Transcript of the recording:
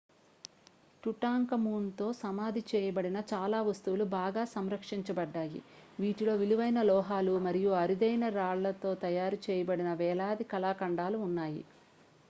Tutankhamun తో సమాధి చేయబడిన చాలా వస్తువులు బాగా సంరక్షించబడ్డాయి వీటిలో విలువైన లోహాలు మరియు అరుదైన రాళ్ళతో తయారు చేయబడిన వేలాది కళాఖండాలు ఉన్నాయి